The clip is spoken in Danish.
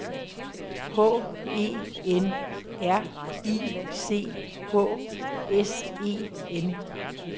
H E N R I C H S E N